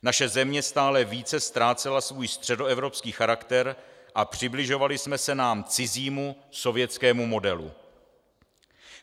Naše země stále více ztrácela svůj středoevropský charakter a přibližovali jsme se nám cizímu sovětskému modelu.